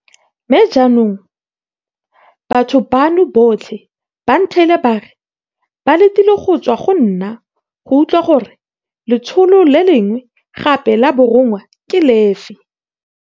Mme jaanong, batho bano botlhe ba ntheile ba re ba letile go tswa go nna go utlwa gore letsholo le lengwe gape la borongwa ke lefe.